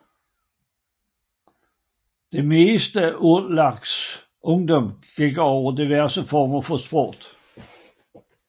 Det meste af Urlachers ungdom gik med diverse former for sport